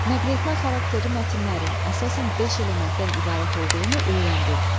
Nəqletmə xarakterli mətnlərin əsasən beş elementdən ibarət olduğunu öyrəndin.